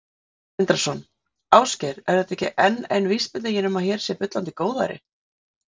Sindri Sindrason: Ásgeir, er þetta ekki enn ein vísbendingin um að hér sé bullandi góðæri?